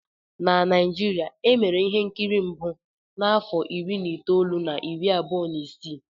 Na Naijiria, e mere ihe nkiri mbụ n'afọ iri na itoolu na iri abụọ na isii